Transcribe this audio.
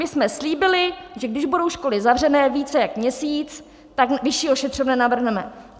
My jsme slíbili, že když budou školy zavřené více jak měsíc, tak vyšší ošetřovné navrhneme.